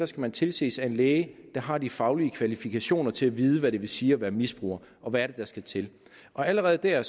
skal tilses af en læge der har de faglige kvalifikationer til at vide hvad det vil sige at være misbruger og hvad der skal til allerede der